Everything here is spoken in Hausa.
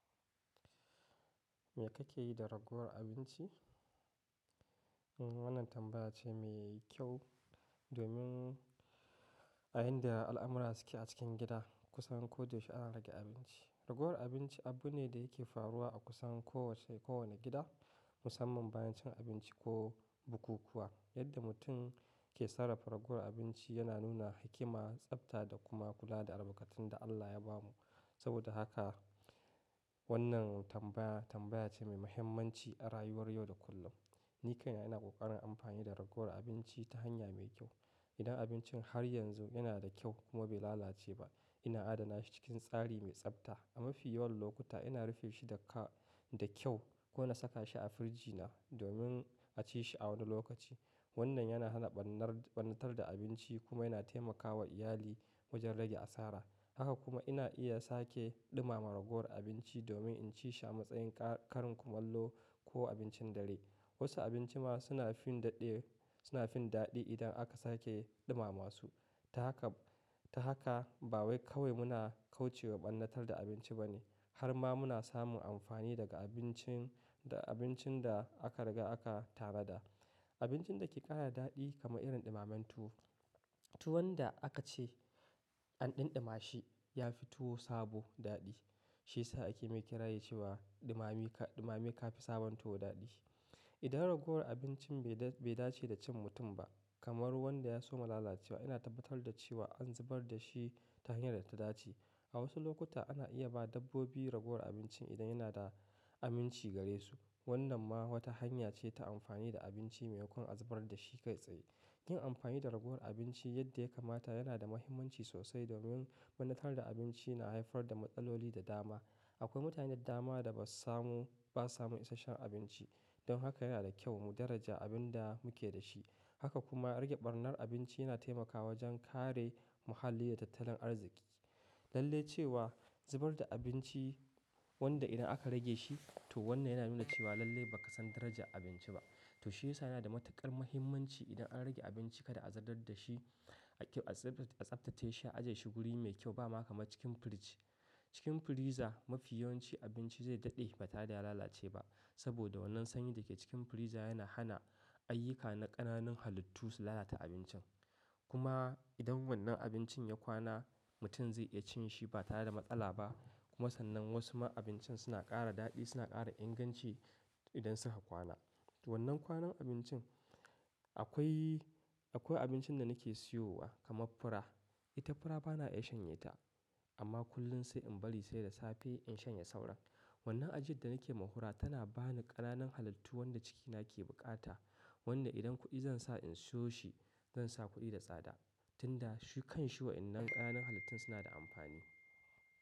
Me kake yi da ragowar abinci? Wannan tambaya ce mai kyau domin a inda al'amura suke a cikin gida kusan koyaushe ana rage abinci. Ragowar abinci abu ne da yake faruwa a kusan kowace-- kowane gida musamman bayan cin abinci ko bukukuwa. Yadda mutum ke sarrafa ragowar abinci yana nuna hikima, tsafta da kuma kula da albarkatun da Allah ya bamu. Saboda haka wannan tambaya, tambaya ce mai muhimmanci a rayuwar yau da kullum. Ni kaina ina ƙoƙarin amfani da ragowar abinci ta hanya mai kyau. Idan abincin har yanzu yana da kyau kuma bai lalace ba, ina adana shi cikin tsari mai tsafta. A mafi yawan lokuta ina rufe shi da ka-- da kyau ko na saka shi a firji na domin a ci shi a wani lokaci. Wannan yana hana ɓannar-- ɓannatar da abinci kuma yana taimakawa iyali wajen rage asara. Haka kuma ina iya sake ɗumama ragowar abinci domin in ci shi a matsayin ka karin kumallo ko abincin dare. Wasu abinci ma suna fin daɗe-- suna fin daɗi idan aka sake ɗumama su. Ta haka, ta haka ba wai kawai muna kauce wa ɓannatar da abinci ba ne, har ma muna samun amfani daga abincin, da abincin da aka riga aka tanada. Abincin da ke ƙara daɗi kamar irin ɗumammen tuwo. Tuwon da aka ce an ɗinɗima shi ya fi tuwo sabo daɗi. Shiyasa ake ma kiraye cewa ɗumami, ɗumami ka fi sabon tuwo daɗi. Idan ragowar abincin bai da-- bai dace da cin mutum ba kamar wanda ya soma lalacewa, ina tabbatar da cewa an zubar da shi ta hanyar da ta dace. A wasu lokuta ana iya ba dabbobi ragowar abincin idan yana da aminci gare su. Wannan ma wata hanya ce ta amfani da abinci maimakon a zubar da shi kai tsaye. Yin amfani da ragowar abinci yadda ya kamata yana da muhimmanci sosai domin ɓannatar da abinci na haifar da matsaloli da dama. Akwai mutanen dama da ba su samu, ba su samu isashshen abinci. Don haka yana da kyau mu daraja abin da muke da shi. Haka kuma rage ɓarnar abinci yana taimakawa wajen kare muhalli da tattalin arziki. Lalle cewa zubar da abinci wanda idan aka rage shi to wannan yana nuna cewa lalle ba ka san daraja abinci ba. To shiyasa yana da matuƙar muhimmanci idan an rage abinci kada a zubar da shi. A kyau-- a tsaftace shi, ajiye shi guri mai kyau bana kama cikin firji. Cikin firiza mafi yawanci abinci zai daɗe ba tare da ya lalace ba. Saboda wannan sanyi da ke cikin firiza yana hana ayyuka na ƙananan halittu su lalata abincin. Kuma idan wannan abincin ya kwana mutum zai iya cin shi ba tare da matsala ba. Kuma sannan wasu ma abincin suna ƙara daɗi, suna ƙara inganci idan suka kwana. Wannan kwanan abincin akwai, akwai abincin da nake siyowa kamar fura. Ita fura bana iya shanye ta amma kullum sai in bari sai da safe in shanye saura. Wannan ajiyar da nake muhura tana ba ni ƙananan halittu wanda cikina ke buƙata. Wanda idan kuɗi zan sa in siyo shi zan sa kuɗi da tsada. Tunda shi kan shi waɗannan ƙananan halittun suna da amfani.